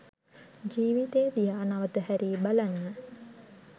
ජීවිතය දිහා නැවත හැරී බලන්න